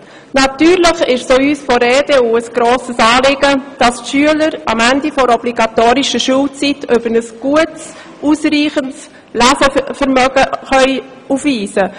Natürlich ist es auch uns von der EDU ein grosses Anliegen, dass die Schüler am Ende der obligatorischen Schulzeit ein gutes, ausreichendes Lesevermögen aufweisen.